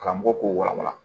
Karamɔgɔ k'o walawala